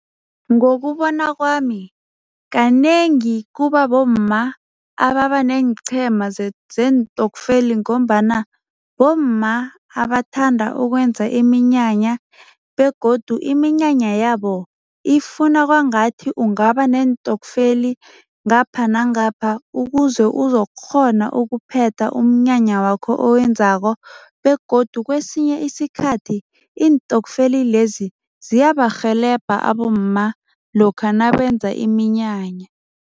Ngokubona kwami, kanengi kubabomma ababaneenqhema zeentokfeli ngombana bomma abathanda ukwenza iminyanya begodu iminyanya yabo ifuna kwangathi ungaba neentokfeli ngapha nangapha ukuze uzokukghona ukuphetha umnyanya wakho owenzako begodu kwesinye isikhathi, iintokfeli lezi ziyabarhelebha abomma lokha nabenza iminyanya.